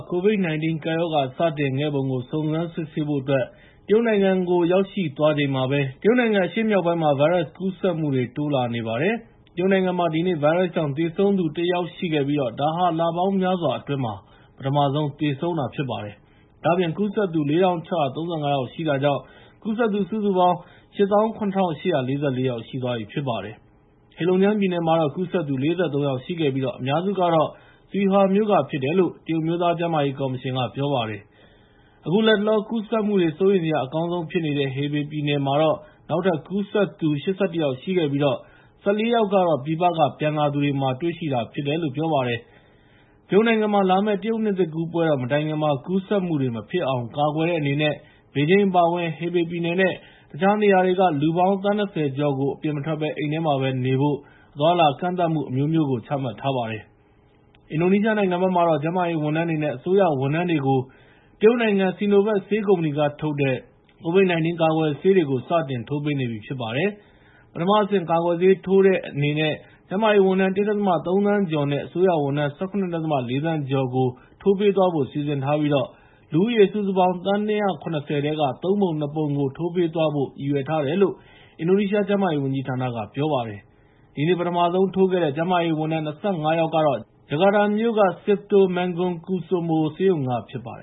ကိုဗစ် ၁၉ ကပ်ရောဂါ စတင်ခဲ့ပုံကို စုံစမ်းစစ်ဆေးဖို့အတွက် ကမ္ဘာ့ကျန်းမာရေးအဖွဲ့ချုပ် (WHO) ပညာရှင်အဖွဲ့တဖွဲ့ တရုတ်နိုင်ငံကိုရောက်ရှိသွားချိန်မှာပဲ တရုတ်နိုင်ငံ အရှေ့မြောက်ပိုင်းမှာ ဗိုင်းရပ်စ်ကူးစက်မှုတွေ တိုးလာနေပါတယ်။ တရုတ်နိုင်ငံမှာ ဒီနေ့ဗိုင်းရပ်စ်ကြောင့် သေဆုံးသူ ၁ ယောက် ရှိခဲ့ပြီး ဒါဟာ လပေါင်းများစွာအတွင်းမှာ ပထမဆုံးသေဆုံးတာဖြစ်ပါတယ်။ ဒါ့အပြင် ကူးစက်သူ ၄,၆၃၅ ယောက်ရှိတာကြောင့် ကူးစက်သူ စုစုပေါင်း ၈၇,၈၄၄ ယောက်ရှိသွားပြီဖြစ်ပါတယ်။ ဟေလုံဂျန်းပြည်နယ်မှာတော့ ကူးစက်သူ ၄၃ ယောက်ရှိခဲ့ပြီး အများစုက Suihua မြို့ကဖြစ်တယ်လို့ တရုတ်အမျိုးသား ကျန်းမာရေးကော်မရှင်က ပြောပါတယ်။ အခုလတ်တလောကူးစက်မှုတွေ စိုးရိမ်စရာအကောင်းဆုံးဖြစ်နေတဲ့ Hebei ပြည်နယ်မှာတော့ နောက်ထပ် ကူးစက်သူ ၈၁ ယောက်ရှိခဲ့ပြီး ၁၄ ယောက်ကတော့ ပြည်ပက ပြန်လာသူတွေဖြစ်တယ်လို့ ပြောပါတယ်။ တရုတ်နိုင်ငံမှာ လာမယ့် တရုတ်နှစ်သစ်ကူးပွဲတော် မတိုင်ခင်မှာ ကူးစက်မှုတွေမဖြစ်အောင် ကာကွယ်တဲ့အနေနဲ့ ဘေဂျင်း အပါအဝင် Hebei ပြည်နယ်နဲ့ တခြားနေရာတွေက လူပေါင်း သန်း ၂၀ ကျော်ကို အပြင်မထွက်ဘဲ အိမ်ထဲမှာပဲနေဖို့ အသွားအလာကန့်သတ်မှု အမျိုးမျိုး ချမှတ်ထားပါတယ်။ အင်ဒိုနီးရှားနိုင်ငံမှာတော့ ကျန်းမာရေးဝန်ထမ်းတွေနဲ့ အစိုးရဝန်ထမ်းတွေကို တရုတ်နိုင်ငံ Sinovac ဆေးကုမ္ပဏီက ထုတ်တဲ့ ကိုဗစ် ၁၉ ကာကွယ်ဆေးတွေကို စတင်ထိုးပေးနေပြီဖြစ်ပါတယ်။ ပထမအဆင့် ကာကွယ်ဆေးထိုးတဲ့အနေနဲ့ ကျန်းမာရေးဝန်ထမ်း ၁.၃ သန်းကျော် နဲ့ အစိုးရဝန်ထမ်း ၁၇.၄ သန်း ကျော်ကို ထိုးပေးသွားဖို့ စီစဉ်ထားပြီး လူဦးရေ စုစုပေါင်း သန်း ၂၇၀ ထဲက ၃ ပုံ ၂ ပုံကို ထိုးပေးသွားဖို့ ရည်ရွယ်ထားတယ်လို့ အင်ဒိုနီးရှားကျန်းမာရေးဝန်ကြီးဌာနက ပြောပါတယ်။ ဒီနေ့ ပထမဆုံးထိုးခဲ့တဲ့ ကျန်းမာရေးဝန်ထမ်း ၂၅ ယောက်ကတော့ ဂျကာတာမြို့ Cipto Mangunkusumo ဆေးရုံက ဖြစ်ပါတယ